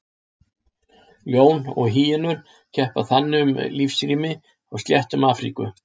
Ljón og hýenur keppa þannig um lífsrými á sléttum Afríku.